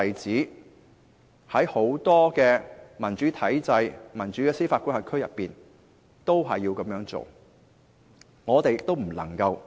在很多民主體制或司法管轄區內也有很多例子，我們也不能例外。